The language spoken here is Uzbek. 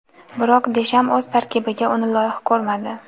Biroq Desham o‘z tarkibiga uni loyiq ko‘rmadi.